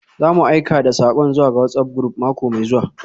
Za mu aika da sakon zuwa ga WhatsApp group mako mai zuwa.